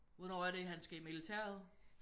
Hvornår er det han skal i militæret?